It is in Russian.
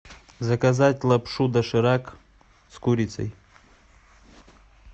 заказать лапшу доширак с курицей